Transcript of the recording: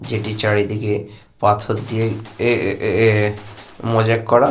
যেটির চারিদিকে পাথর দিয়ে এ-এ-এ মোজাইক করা।